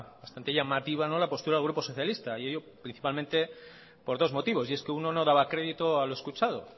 bastante llamativa no la postura del grupo socialista y ello principalmente por dos motivos y es que uno no daba crédito a lo escuchado